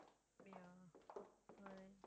அப்படியா அஹ்